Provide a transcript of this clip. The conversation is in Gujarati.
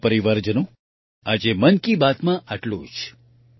મારા પરિવારજનો આજે મન કી બાતમાં આટલું જ